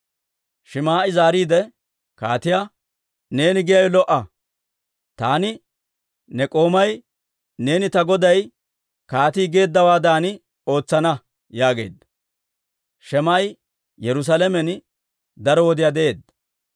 Shim"i zaariide kaatiyaa, «Neeni giyaawe lo"a; taani ne k'oomay neeni ta goday kaatii geeddawaadan ootsana» yaageedda. Shim"i Yerusaalamen daro wodiyaa de'eedda.